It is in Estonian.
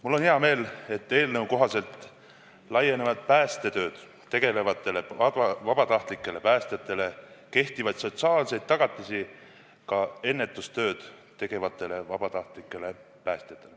Mul on hea meel, et eelnõu kohaselt laienevad päästetööd tegevatele vabatahtlikele päästjatele kehtivad sotsiaalsed tagatised ka ennetustööd tegevatele vabatahtlikele päästjatele.